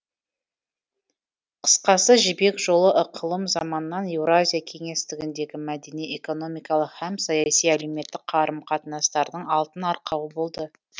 қысқасы жібек жолы ықылым заманнан еуразия кеңестігіндегі мәдени экономикалық һәм саяси әлеуметтік қарым қатынастардың алтын арқауы болды